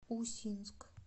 усинск